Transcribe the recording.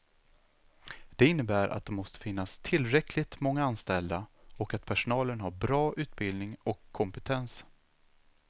Det innebär att det måste finnas tillräckligt många anställda och att personalen har bra utbildning och kompetens.